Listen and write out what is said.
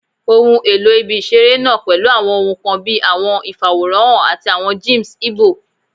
Ohun elo ibi-iṣere naa pẹlu awọn ohun kan bii awọn ifaworanhan ati awọn gyms igbo